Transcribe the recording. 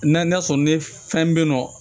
N'a sɔrɔ ni fɛn be yen nɔ